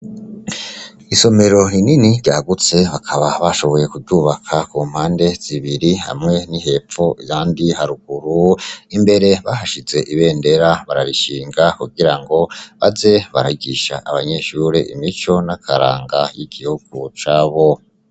Isomero rinini ryagutse bakaba bashoboye kuryubaka ku mpande zibiri hamwe ni hepfo ahandi haruguru imbere bahashize ibendera bararishinga kugira ngo baze barigisha abanyeshure imico n' akaranga y'igihugu cabo.